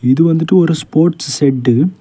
இது வந்து ஒரு ஸ்போர்ட்ஸ் ஷெட்டு .